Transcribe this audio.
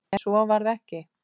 En svo varð ekki.